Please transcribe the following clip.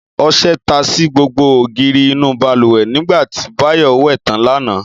Ọṣẹ ta sí gbogbo ògiri inú bàlùwẹ̀ nígbà tí Báyọ̀ wẹ̀ tán lánàá